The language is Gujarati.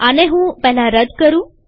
આને હું રદ કરું